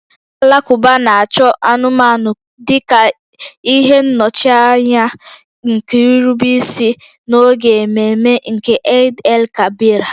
Ndị Alakụba na-achụ anụmanụ dị ka ihe nnọchianya nke nrubeisi n'oge ememe nke Eid-el-Kabir ha